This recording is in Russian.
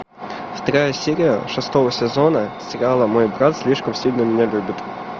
вторая серия шестого сезона сериала мой брат слишком сильно меня любит